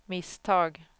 misstag